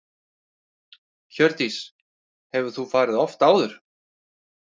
Hjördís: Hefur þú farið oft áður?